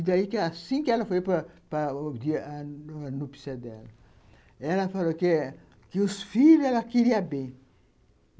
E daí, que assim que ela foi para para a núpcias dela, ela falou que que os filhos ela queria bem.